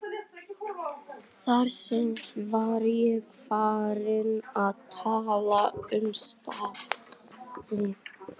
Þar með var ég farinn að tala um starfið.